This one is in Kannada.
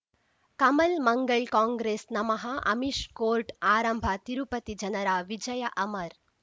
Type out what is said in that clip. ಕಮಲ್ ಮಂಗಳ್ ಕಾಂಗ್ರೆಸ್ ನಮಃ ಅಮಿಷ್ ಕೋರ್ಟ್ ಆರಂಭ ತಿರುಪತಿ ಜನರ ವಿಜಯ ಅಮರ್